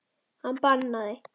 Hann bannaði